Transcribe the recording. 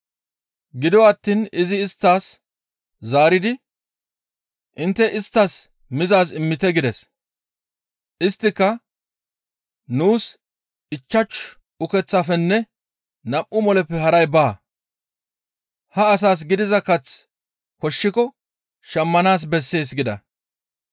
Gido attiin izi isttas zaaridi, «Intte isttas mizaaz immite» gides. Isttika, «Nuus ichchashu ukeththafenne nam7u moleppe haray baa; ha asaas gidiza kath koshshiko shammanaas bessees» gida.